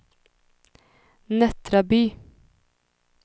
Nättraby